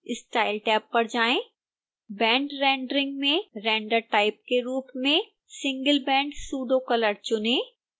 style tab पर जाएं band rendering में render type के रूप में singleband pseudocolor चुनें